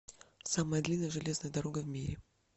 самая длинная железная дорога в мире